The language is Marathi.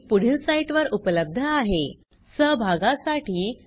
या ट्यूटोरियल चे भाषांतर कविता साळवे यांनी केले असून मी रंजना भांबळे आपला निरोप घेते